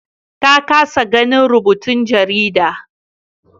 Ta kasa ganin rubutun jarida